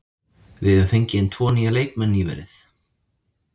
Við höfum fengið inn tvo nýja leikmenn nýverið.